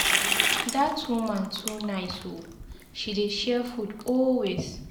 Dat woman too nice oo, she dey share food always.